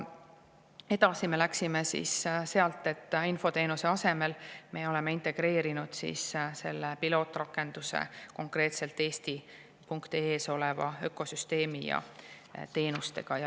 Edasi läheme me nii, et infoteenuse asemel me oleme integreerinud pilootrakenduse konkreetselt eesti.ee lehel oleva ökosüsteemi ja teenustega.